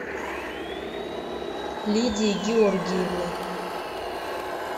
лидия георгиевна